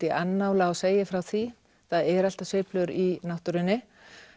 í annála og segi frá því það eru alltaf sveiflur í náttúrunni